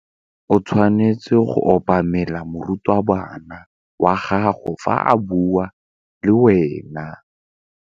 O tshwanetse go obamela morutabana wa gago fa a bua le wena.